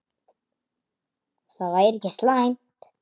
Það væri ekki slæmt.